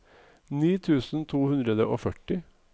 ni tusen to hundre og førti